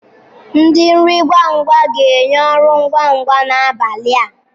Ndi nri ngwa ngwa ga-enye ọrụ ngwa ngwa n'abalị a.